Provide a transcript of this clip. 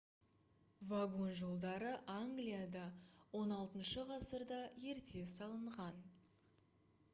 вагон жолдары англияда xvi ғасырда ерте салынған